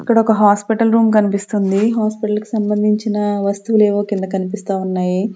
అక్కడ ఒక hospital room కనిపిస్తుంది హాస్పిటల్ కి సంబంధించిన వస్తువులు ఏవో కింద కనిపిస్తా ఉన్నాయి.